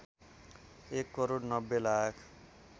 १ crore ९० lakh